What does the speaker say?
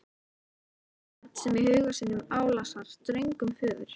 Eins og barn sem í huga sínum álasar ströngum föður.